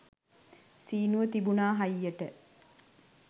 සීනුව තිබුණා හයියට